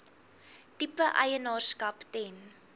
tipe eienaarskap ten